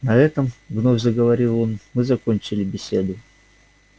на этом вновь заговорил он мы закончили беседу